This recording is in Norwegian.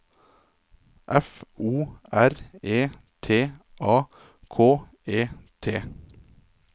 F O R E T A K E T